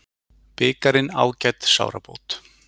Bikarinn ágæt sárabót